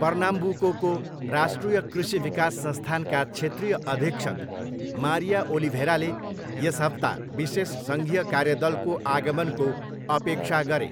पर्नाम्बुकोको राष्ट्रिय कृषि विकास संस्थानका क्षेत्रीय अधीक्षक, मारिया ओलिभेराले यस हप्ता विशेष सङ्घीय कार्य दलको आगमनको अपेक्षा गरे।